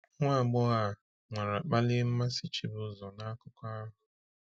Nwa agbọghọ a nwara kpalie mmasị Chibuzor n’akụkọ ahụ.